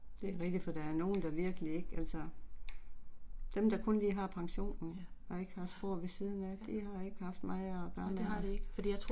Det er rigtigt for der nogen der virkelig ikke altså. Dem der kun lige har pensionen og ikke har spor ved siden de har ikke haft meget og gøre med nej